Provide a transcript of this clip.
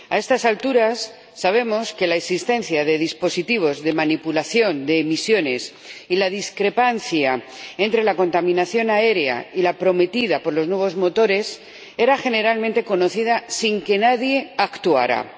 A estas alturas, sabemos que la existencia de dispositivos de manipulación de emisiones y la discrepancia entre la contaminación aérea y la prometida por los nuevos motores era generalmente conocida, sin que nadie actuara.